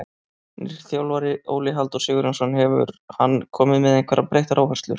Nýr þjálfari, Óli Halldór Sigurjónsson, hefur hann komið með einhverjar breyttar áherslur?